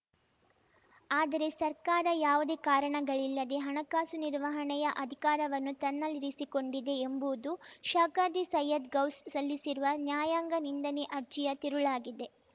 ಆದರೆ ಸರ್ಕಾರ ಯಾವುದೇ ಕಾರಣಗಳಿಲ್ಲದೆ ಹಣಕಾಸು ನಿರ್ವಹಣೆಯ ಅಧಿಕಾರವನ್ನು ತನ್ನಲ್ಲಿರಿಸಿಕೊಂಡಿದೆ ಎಂಬುದು ಶಾಖಾದ್ರಿ ಸೈಯ್ಯದ್‌ ಗೌಸ್‌ ಸಲ್ಲಿಸಿರುವ ನ್ಯಾಯಾಂಗ ನಿಂದನೆ ಅರ್ಜಿಯ ತಿರುಳಾಗಿದೆ